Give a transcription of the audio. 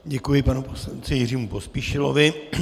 Děkuji panu poslanci Jiřímu Pospíšilovi.